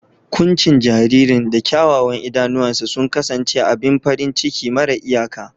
Kuncin jaririn da kyawawan idanuwansa sun kasance abin farin ciki mara iyaka.